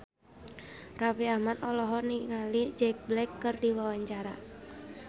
Raffi Ahmad olohok ningali Jack Black keur diwawancara